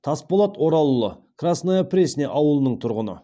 тасболат оралұлы красная пресня ауылының тұрғыны